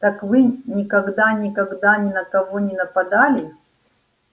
так вы никогда никогда ни на кого не нападали